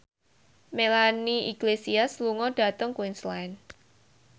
Melanie Iglesias lunga dhateng Queensland